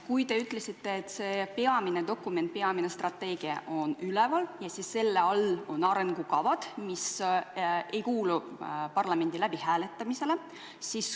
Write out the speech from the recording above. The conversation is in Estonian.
Te ütlesite, et see peamine dokument, peamine strateegia asub üleval ja selle all on arengukavad, mis ei kuulu parlamendis läbihääletamisele.